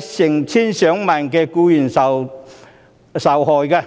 成千上萬僱員受害。